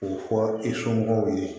K'o fɔ i somɔgɔw ye